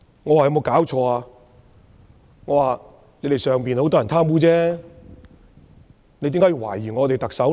你們中國很多人貪污，為何要懷疑我們的特首？